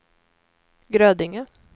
Grödinge